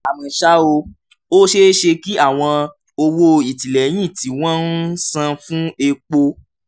àmọ́ ṣá o ó ṣeé ṣe kí àwọn owó ìtìlẹ́yìn tí wọ́n ń san fún epo